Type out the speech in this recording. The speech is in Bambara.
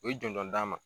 U ye jɔnjɔn d'an ma